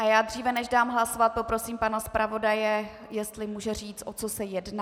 A já dříve, než dám hlasovat, poprosím pana zpravodaje, jestli může říct, o co se jedná.